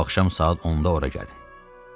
Bu axşam saat 10-da ora gəlin.